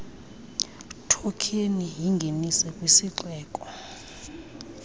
thokheni yingenise kwisixeko